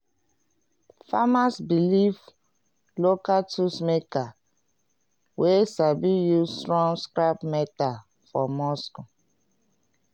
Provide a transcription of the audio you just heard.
farmers belief local tool makers wey sabi use strong scrap metal for muscle.